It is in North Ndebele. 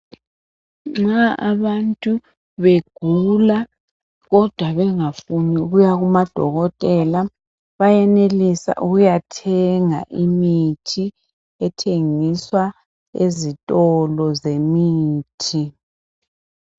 Nxa abantu begula kodwa bengafuni ukuya kumadokotela bayenelisa ukuyathenga imithi ethengiswa ezitolo zemithi.